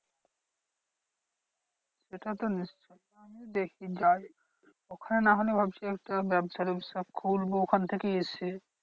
সেটা তো দেখছি যাই ওখানে না হলে ভাবছি একটা ব্যাবসা ট্যাবসা করবো ওখান থেকে এসে।